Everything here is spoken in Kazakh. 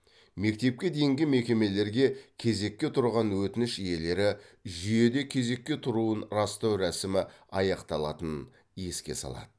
мектепке дейінгі мекемелерге кезекке тұрған өтініш иелері жүйеде кезекке тұруын растау рәсімі аяқталатынын еске салады